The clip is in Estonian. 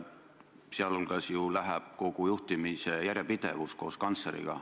Aga nii kaob ju koos kantsleriga kogu juhtimise järjepidevus.